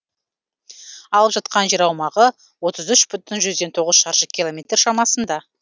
алып жатқан жер аумағы отыз үш бүтін жүзден тоғыз шаршы километр шамасында